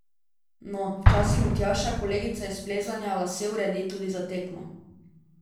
No, včasih mi Tjaša, kolegica iz plezanja, lase uredi tudi za tekmo.